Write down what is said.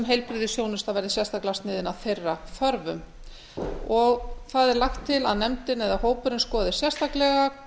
heilbrigðisþjónusta verði sérstaklega sniðin að þeirra þörfum það er lagt til að nefndin eða hópurinn skoði sérstaklega